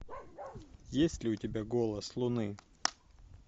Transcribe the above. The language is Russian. есть ли у тебя голос луны